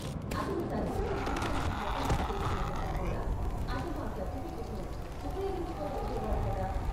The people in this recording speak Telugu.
అతను తర్వాత ఉద్యోగానికి దరఖాస్తు చేస్కునేటప్పుడు కూడా అతను ఆ సర్టిఫికేట్ను ఉపయోగించుకోగలిగేవాడు కదా.